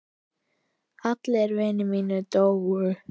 Allir vinir mínir dóu.